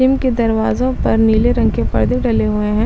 इनके दरवाजो पर नीले रंग के पर्दो डले हुए है।